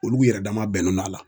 Olu yɛrɛ dama bɛnen no la